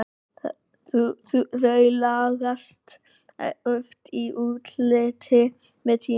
Þau lagast oft í útliti með tímanum.